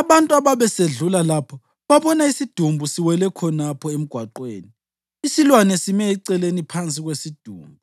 Abantu ababesedlula lapho babona isidumbu siwele khonapho emgwaqweni, isilwane simi eceleni phansi kwesidumbu,